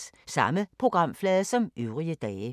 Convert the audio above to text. Samme programflade som øvrige dage